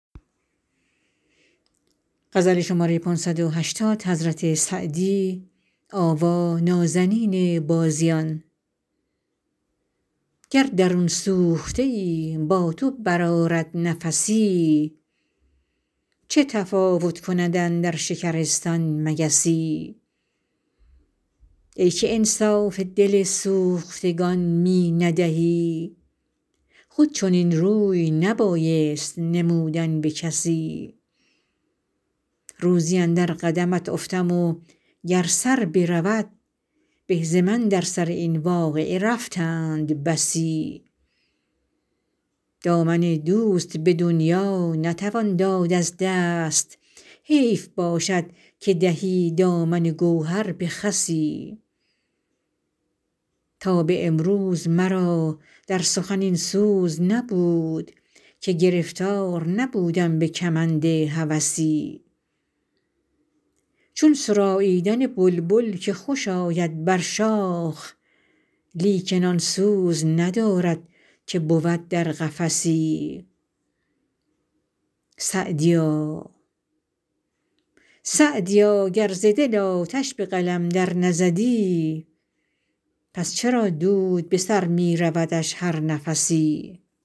گر درون سوخته ای با تو برآرد نفسی چه تفاوت کند اندر شکرستان مگسی ای که انصاف دل سوختگان می ندهی خود چنین روی نبایست نمودن به کسی روزی اندر قدمت افتم و گر سر برود به ز من در سر این واقعه رفتند بسی دامن دوست به دنیا نتوان داد از دست حیف باشد که دهی دامن گوهر به خسی تا به امروز مرا در سخن این سوز نبود که گرفتار نبودم به کمند هوسی چون سراییدن بلبل که خوش آید بر شاخ لیکن آن سوز ندارد که بود در قفسی سعدیا گر ز دل آتش به قلم در نزدی پس چرا دود به سر می رودش هر نفسی